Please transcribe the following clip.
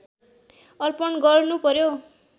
अर्पण गर्नुपर्‍यो